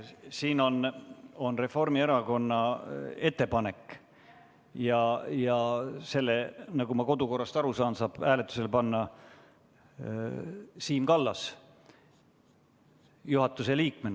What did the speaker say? Siin on Reformierakonna ettepanek ja selle, nagu ma kodu- ja töökorra seaduse järgi aru saan, saab hääletusele panna Siim Kallas juhatuse liikmena.